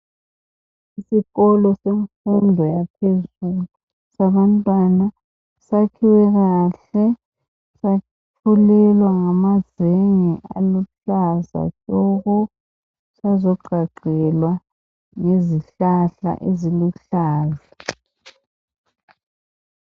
Esikolo semfundo yaphezulu sabantwana sakhiwe kahle safulelwa ngamazenge aluhlaza tshoko sazoqhaqelwa ngezihlahla eziluhlaza.